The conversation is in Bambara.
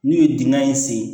N'u ye dingɛ in sen